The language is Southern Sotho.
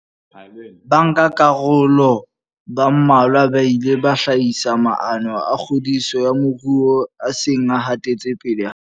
Bankakaroloba mmalwa ba ile ba hlahisa maano a kgodiso ya moruo a seng a hatetse pele haholo.